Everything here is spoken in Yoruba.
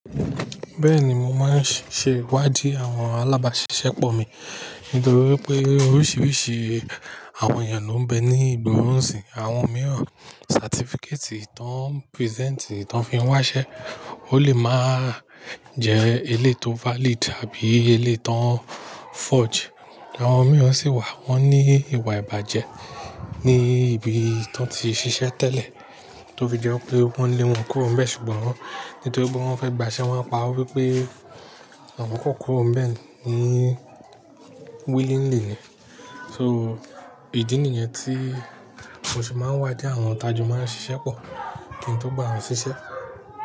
Bẹ́ẹ̀ni, mo máa ń ṣe ìwádìí àwọn alábáṣiṣẹ́ pọ̀ mi nítorí pé oríṣiríṣi àwọn èèyàn ló ń bẹ ní ìgboro n sìn. Àwọn mìíràn certificate tí wọ́n present, tí wọ́n fi ń wáṣẹ́, ó lè máa jẹ́ elé to valid àbí elé tí wọ́n forge. Àwọn mìíràn sì wà wọ́n ní ìwà ìbàjẹ́ ní ibi tí wọ́n ti ṣiṣẹ́ tẹ́lẹ̀ tó fi jẹ́ wípé wọ́n lé wọn kúrò ń bẹ ṣùgbọ́n nítorí pé wọ́n fẹ́ gbaṣẹ́, wọ́n pa wípé àwọn kò kúrò ń bẹ ni willingly ni. So ìdí nìyẹn tí mo se máa ń wádìí àwọn tajọ́ máa ń ṣiṣẹ́ pọ̀ kí n tó gba wọn ṣiṣẹ́.